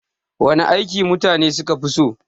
Wana aiki mutane suka fi so?